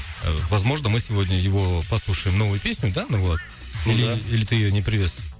возможно мы сегодня его послушаем новую песню да нұрболат ну да или или ты ее не привез